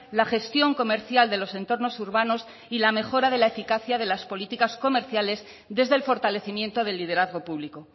la gestión comercial de los entornos urbanos y la mejora de la eficacia de las políticas comerciales desde el fortalecimiento del liderazgo público